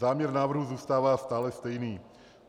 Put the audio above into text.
Záměr návrhu zůstává stále stejný.